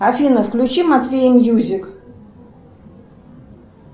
афина включи матвея мьюзик